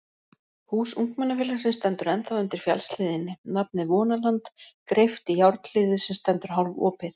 Hús ungmennafélagsins stendur ennþá undir fjallshlíðinni, nafnið Vonaland greypt í járnhliðið sem stendur hálfopið.